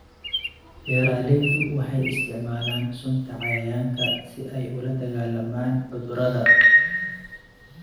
Beeraleydu waxay isticmaalaan sunta cayayaanka si ay ula dagaallamaan cudurrada.